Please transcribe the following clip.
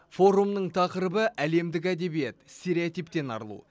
форумның тақырыбы әлемдік әдебиет стереотиптен арылу